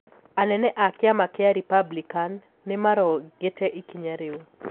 Anene a kiama kia Republican nimarong'ite ikinya riu.